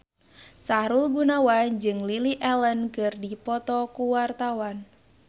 Sahrul Gunawan jeung Lily Allen keur dipoto ku wartawan